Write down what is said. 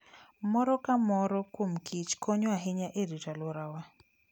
Moro ka moro kuom kich konyo ahinya e rito alworawa.